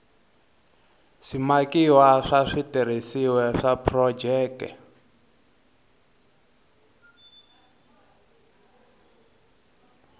swimakiwa swa switirhisiwa swa phurojeke